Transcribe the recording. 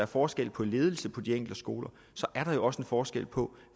forskel på ledelse på de enkelte skoler er der jo også en forskel på